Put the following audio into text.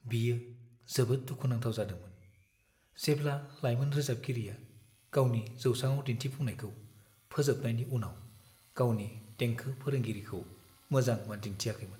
बियो जोबोद दुखु नांथाव जादोंमोन जेब्ला लायमोन रोजाबगिरिया गावनि जौसांआव दिन्थिफुंनायखौ फोजोबनायनि उनाव गावनि देंखो फोरोंगिरिखौ मोजां मान दिन्थियाखैमोन।